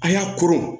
An y'a koron